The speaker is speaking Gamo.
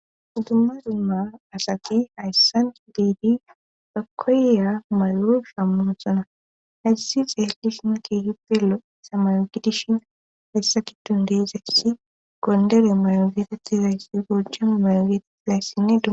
uddumma dumma asati hayssan diidi bakkoya malo shammon sona hayssi xeelishina keehippelo isamayogidishin hayssa kidun deizayssi gondere mayogitetizayssi gojam maygetiizayssinne du